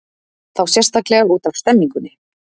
Þá sérstaklega útaf stemningunni.